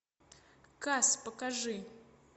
кас покажи